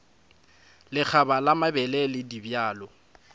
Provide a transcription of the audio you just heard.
lekgaba la mabele le dibjalo